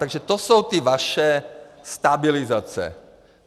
Takže to jsou ty vaše stabilizace.